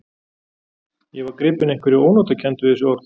Ég var gripinn einhverri ónotakennd við þessi orð.